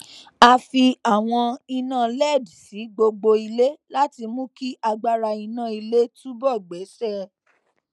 a fi àwọn iná led sí gbogbo ilé láti mú kí agbára iná ilé túbò gbéṣé